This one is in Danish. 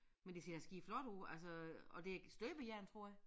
Men det ser skideflot ud altså og det støbejern tror jeg